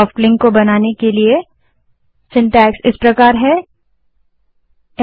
soft link बनाने के लिए ल्न कमांड का रचनाक्रम सिन्टैक्स इस प्रकार है